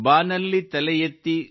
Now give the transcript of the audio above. ಬಾನಲ್ಲಿ ತಲೆ ಎತ್ತಿ